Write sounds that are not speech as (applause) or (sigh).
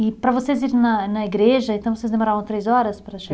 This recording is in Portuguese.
E para vocês irem na na igreja, então, vocês demoravam três horas para (unintelligible)